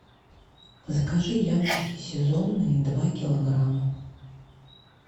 закажи яблоки сезонные два килограмма